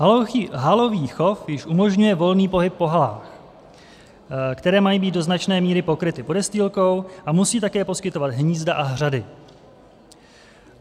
Halový chov již umožňuje volný pohyb po halách, které mají být do značné míry pokryty podestýlkou a musí také poskytovat hnízda a hřady.